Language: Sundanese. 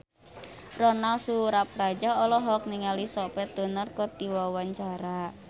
Ronal Surapradja olohok ningali Sophie Turner keur diwawancara